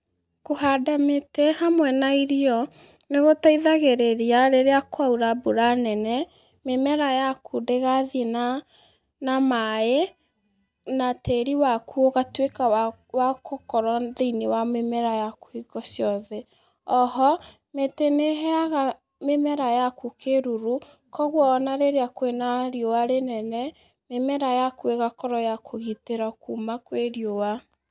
Kũhanda mĩtĩ hamwe na irio, nĩgũteithagĩrĩria rĩrĩa kwaura mbura nene, mĩmera yaku ndĩgathi na, na maĩ, na tĩri waku ũgako wa wakũkorwo thĩ-inĩ wa mĩmera yaku hingo ciothe, oho, mĩtĩ nĩheaga mĩmer ayaku kíruru, koguo ona rĩrĩa kwĩna riũa rĩnene, mĩmera yaku ĩgakorwo yakũgitĩrwo kuma kwĩ riũa.